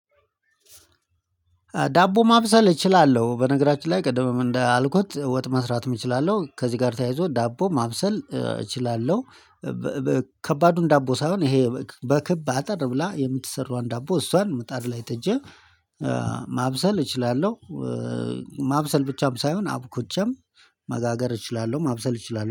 ዳቦ ማብሰል እችላለሁ በነገራችን ላይ ቅድምም እንደ አልኩት ወጥ መስራት እችላለሁ ከዚህ ጋር ተያይዞ ዳቦ ማብሰል እችላለሁ። ከባዱን ዳቦ ሳይሆን ይሄ በክብ አጠር ብላ የምትሰራዋን ዳቦ እሷን ምጣድ ላይ ጥጄ። ማብሰል እችላለሁ። ማብሰል ብቻም ሳይሆን አብኩቼም መጋገር እችላለሁ ማብሰል እችላለሁ